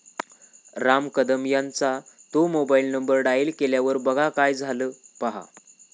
राम कदम यांचा 'तो' mobile number dial केल्यावर बघा काय झालं, पहा